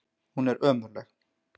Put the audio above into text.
Hún er ömurleg.